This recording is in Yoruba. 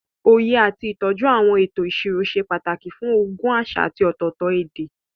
Òye àti ìtọ́jú àwọn ètò ìṣirò ṣe pàtàkì fún ogún àṣà àti ọ̀tọ̀ọ̀tọ̀ èdè.